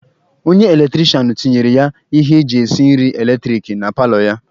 Onye eletirishanụ tinyere ya ihe eji esi nri eletiriki na paalọ ya.